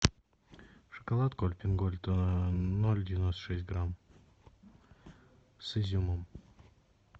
шоколадку альпен гольд ноль девяносто шесть грамм с изюмом